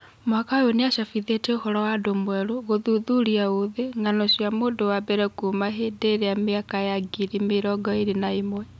Mwaka ũyũ nĩ acabithĩtie ũhoro wa andũ mwerũ, Gũthuthuria ũthĩ: Ng'ano cia mũndũ wa mbere kuuma ihinda rĩa mĩaka ya ngiri mirongo-ĩri na ĩmwe.